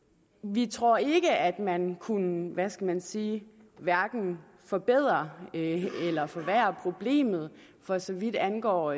vi tror ikke at man kunne hvad skal man sige forbedre eller forværre problemet for så vidt angår